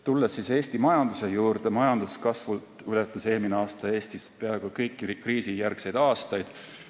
Tulles Eesti majanduse juurde, majanduskasvult ületas eelmine aasta Eestis peaaegu kõiki kriisijärgseid aastaid.